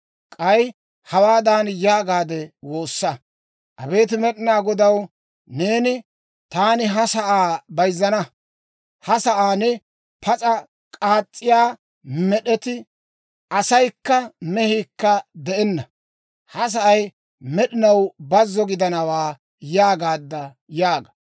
K'ay hawaadan yaagaade woossa; ‹Abeet Med'inaa Godaw, neeni, «Taani ha sa'aa bayzzana; ha sa'aan pas'a k'aas's'iyaa med'eti, asaykka, mehiikka de'enna; ha sa'ay med'inaw bazzo gidanawaa» yaagaadda› yaaga.